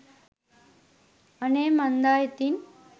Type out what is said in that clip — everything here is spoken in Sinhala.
අනේ මන්දා ඉතින්